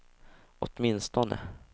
åtminstone